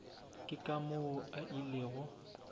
ke ka moo a ilego